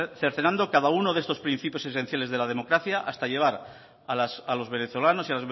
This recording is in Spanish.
cercenando cada uno de estos principios esenciales de la democracia hasta llevar a los venezolanos y